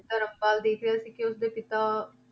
ਧਰਮਪਦ ਦੇਖ ਰਿਹਾ ਸੀ ਕਿ ਉਸਦੇ ਪਿਤਾ,